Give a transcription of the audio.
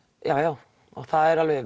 já já og það er alveg